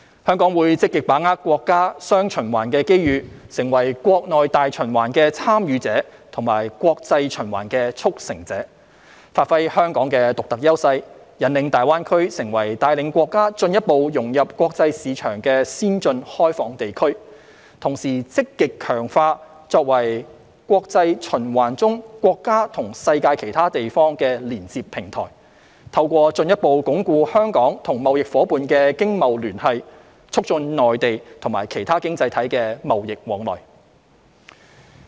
香港會積極把握國家"雙循環"機遇，成為國內大循環的"參與者"和國際循環的"促成者"，發揮香港的獨特優勢，引領大灣區成為帶領國家進一步融入國際市場的先進開放地區，同時積極強化作為國際循環中國家與世界其他地方的連接平台，透過進一步鞏固香港與貿易夥伴的經貿聯繫，促進內地與其他經濟體的貿易往來。